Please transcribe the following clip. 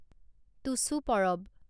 Tusu Parab